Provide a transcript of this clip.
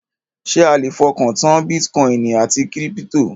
Ṣé a le fọkàn tán bítíkọìnì àti kírípítò?